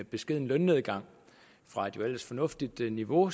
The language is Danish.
beskeden lønnedgang fra et jo ellers fornuftigt niveau